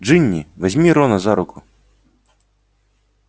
джинни возьми рона за руку